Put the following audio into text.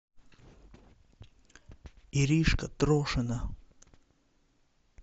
иришка трошина